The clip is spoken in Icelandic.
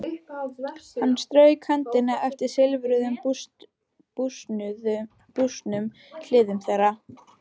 Hann strauk hendi eftir silfruðum og bústnum hliðum þeirra.